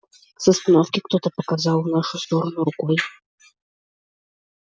с остановки кто-то показал в нашу сторону рукой